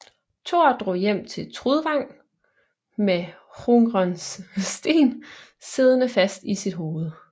Thor drog hjem til Trudvang med Hrungners sten siddende fast i sit hoved